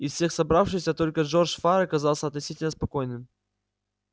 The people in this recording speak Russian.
из всех собравшихся только джордж фара казался относительно спокойным